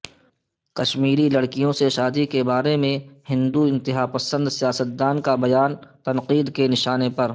کشمیری لڑکیوں سے شادی بارے ہندو انتہاپسند سیاستدان کا بیان تنقید کے نشانےپر